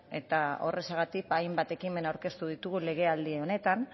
eta horrexegatik hainbat ekimen aurkeztu ditugu legealdi honetan